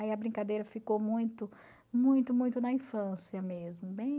Aí a brincadeira ficou muito, muito, muito na infância mesmo.